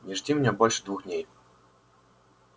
не жди меня больше двух дней